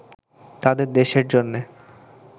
তাদের দেশের জন্যে